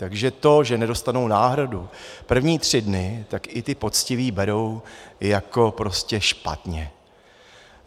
Takže to, že nedostanou náhradu první tři dny, tak i ti poctiví berou jako prostě špatně.